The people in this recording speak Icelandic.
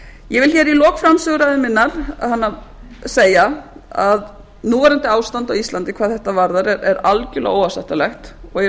ég vil hér í lok framsöguræðu minnar segja að núverandi ástand á íslandi hvað þetta varðar er algerlega óásættanlegt og í